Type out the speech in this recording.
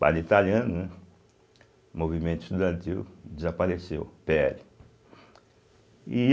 italiano, né o movimento estudantil desapareceu, pê ele e.